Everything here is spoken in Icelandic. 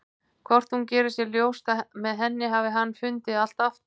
Hvort hún geri sér ljóst að með henni hafi hann fundið allt aftur?